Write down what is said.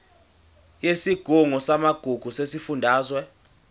yesigungu samagugu sesifundazwe